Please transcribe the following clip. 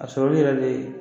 A sɔrɔli yɛrɛ le ye